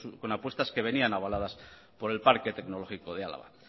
con apuestas que venía avaladas por el parque tecnológico de álava